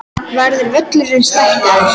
Verður völlurinn stækkaður?